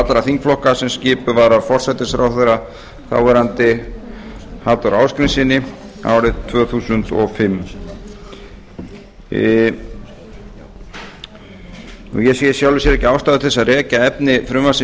allra þingflokka sem skipuð var af þáverandi forsætisráðherra halldóri ásgrímssyni árið tvö þúsund og fimm ég sé í sjálfu sér ekki ástæðu til að rekja efni frumvarpsins